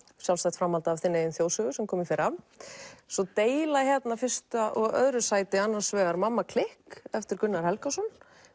sjálfstætt framhald af þinni eigin þjóðsögu sem kom í fyrra svo deila fyrsta og öðru sæti annars vegar mamma klikk eftir Gunnar Helgason